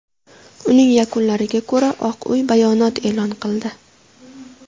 Uning yakunlariga ko‘ra Oq Uy bayonot e’lon qildi.